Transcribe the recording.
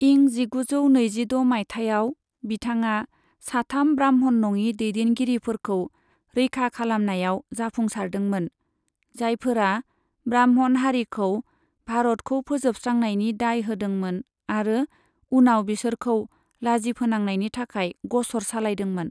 इं जिगुजौ नैजिद' माइथायाव, बिथाङा साथाम ब्राह्मण नङि दैदेनगिरिफोरखौ रैखा खालामनायाव जाफुंसारदोंमोन, जायफोरा ब्राह्मण हारिखौ भारतखौ फोजोबस्रांनायनि दाय होदोंमोन आरो उनाव बिसोरखौ लाजिफोनांनायनि थाखाय ग'सर सालायदोंमोन।